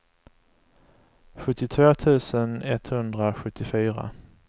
sjuttiotvå tusen etthundrasjuttiofyra